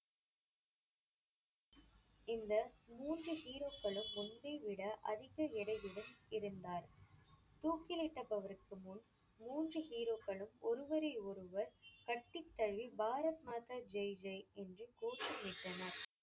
இந்த மூன்று hero க்களும் முன்பை விட அதிக எடையிலும் இருந்தார். தூக்கிலிட்டபவருக்கு முன் மூன்று hero க்களும் ஒருவரை ஒருவர் கட்டித்தழுவி பாரத் மாதா ஜே ஜே என்று கோஷமிட்டனர்.